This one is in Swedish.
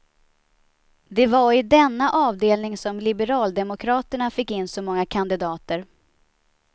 Det var i denna avdelning som liberaldemokraterna fick in så många kandidater.